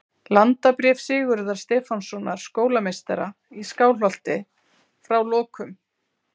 Landabréf Sigurðar Stefánssonar skólameistara í Skálholti, frá lokum